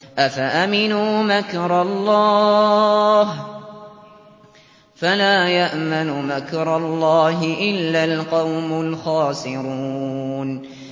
أَفَأَمِنُوا مَكْرَ اللَّهِ ۚ فَلَا يَأْمَنُ مَكْرَ اللَّهِ إِلَّا الْقَوْمُ الْخَاسِرُونَ